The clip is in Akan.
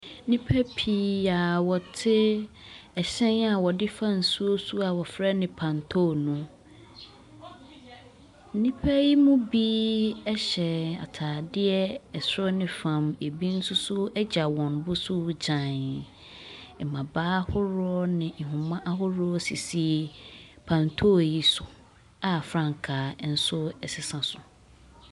Nnipa pii a ɔte ɛhyɛn a ɔde fa nsuo so a ɔfrɛ no pantoo no. Nnipa yi mu bi ɛhyɛ ataade ɛsoro ne fɔm ɛbi nso so agya wɔn boso gyaeii. Mabaa ahoroɔ ne nhoma ahoroɔ sisi pantoo yi so a frankaa nso ɛsesa so.